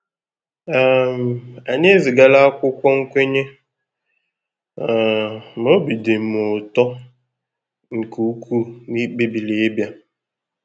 um Anyị ezigara akwụkwọ nkwenye, um ma obi dị m ụtọ nke ukwuu ná ị kpebiri ịbịa.